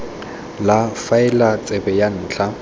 la faele tsebe ya ntlha